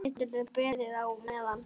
Geturðu beðið á meðan.